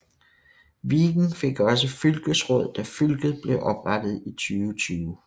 Viken fik også fylkesråd da fylket blev oprettet i 2020